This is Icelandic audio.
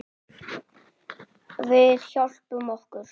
Við hjálpum okkur.